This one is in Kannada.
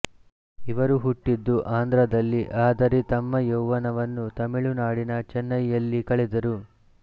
ಇವರು ಹುಟ್ಟಿದ್ದು ಆಂಧ್ರದಲ್ಲಿ ಆದರೆ ತಮ್ಮ ಯೌವನವನ್ನು ತಮಿಳು ನಾಡಿನ ಚೆನ್ನೈಯಲ್ಲಿ ಕಳೆದರು